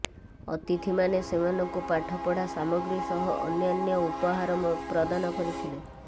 ଅତିଥିମାନେ ସେମାନଙ୍କୁ ପାଠପଢ଼ା ସାମଗ୍ରୀ ସହ ଅନ୍ୟାନ୍ୟ ଉପହାର ପ୍ରଦାନ କରିଥିଲେ